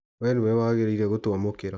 We nĩwe wagĩrĩire gũtũamũkĩra.